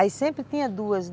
Aí sempre tinha duas.